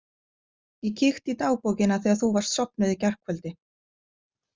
Ég kíkti í dagbókina þegar þú varst sofnuð í gærkvöldi.